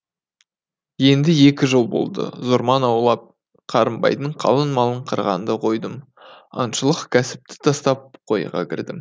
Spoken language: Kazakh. енді екі жыл болды зорман аулап қарынбайдың қалың малын қырғанды қойдым аңшылық кәсіпті тастап қойға кірдім